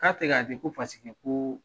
K'a tɛ k'a kɛ ko ko